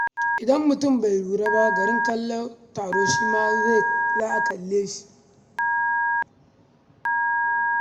Idan mutum bai lura ba, garin kallon taro shi ma sai a kalle shi.